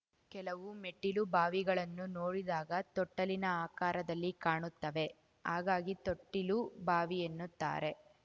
ಕೆಲವು ಮೆಟ್ಟಿಲು ಬಾವಿಗಳನ್ನು ನೋಡಿದಾಗ ತೊಟ್ಟಿಲಿನ ಆಕಾರದಲ್ಲಿಕಾಣುತ್ತವೆ ಹಾಗಾಗಿ ತೊಟ್ಟಿಲುಬಾವಿ ಎನ್ನುತ್ತಾರೆ